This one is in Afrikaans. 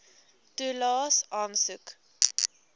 toelaes aansoek